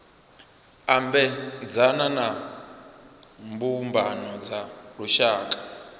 ambedzana na mbumbano dza lushaka